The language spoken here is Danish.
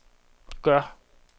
gør